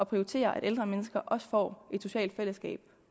prioriterer at ældre mennesker også får et socialt fællesskab